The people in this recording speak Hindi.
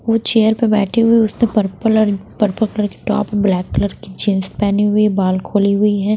वो चेयर पे बैठी हुई है उसने पर्पल और पर्पल कलर की टॉप ब्लैक कलर की जीन्स पहनी हुई है बाल खोली हुई है।